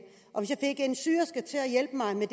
hjælpe mig med